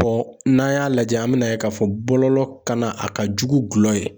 n'an y'a lajɛ , an mɛna yen k'a fɔ bɔlɔlɔ kanna, a ka jugu gulɔ ye.